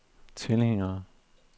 tilhængere